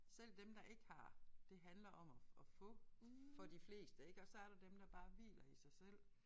Selv dem der ikke har det handler om at at få for de fleste ik og så er der dem der bare hviler i sig selv